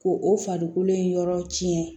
Ko o farikolo in yɔrɔ cɛn